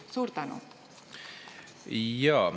Suur tänu!